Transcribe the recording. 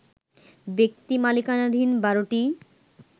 ব্যক্তি মালিকানাধীন ১২টি